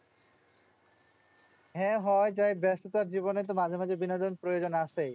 হ্যাঁ হওয়াই যায়। ব্যাস্ততার জীবনে তো মাঝে মাঝে বিনোদন প্রয়োজন আছেই।